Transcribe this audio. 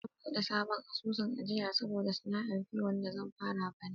Zan buɗe sabon asusun ajiyar saboda sana'ar kiwo da zan fara bana.